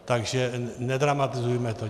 Takže nedramatizujme to.